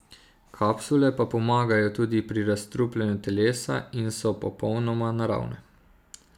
Kapsule pomagajo tudi pri razstrupljanju telesa in so popolnoma naravne.